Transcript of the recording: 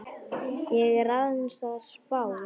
Ég er aðeins að spá.